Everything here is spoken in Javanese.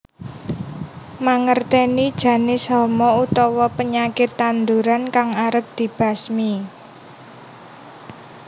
Mangertèni janis hama utawa penyakit tanduran kang arep dibasmi